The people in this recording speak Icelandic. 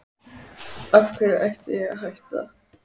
Af hverju ætti ég að hætta?